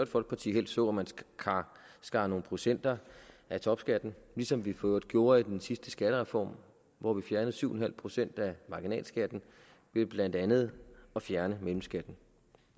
folkeparti helst så at man skar nogle procenter af topskatten ligesom vi for øvrigt gjorde i den sidste skattereform hvor vi fjernede syv procent af marginalskatten ved blandt andet at fjerne mellemskatten